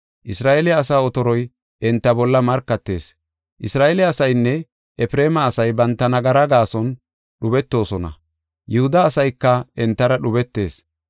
Isra7eele asaa otoroy enta bolla markatees. Isra7eele asaynne Efreema asay banta nagara gaason dhubetoosona; Yihuda asayka entara dhubetees.